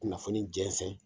Kunnafoni jɛnsɛn